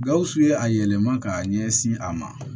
Gawusu ye a yɛlɛma k'a ɲɛsin a ma